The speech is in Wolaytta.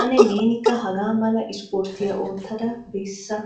Ane neenika haga mala isporttiya oottada bessa?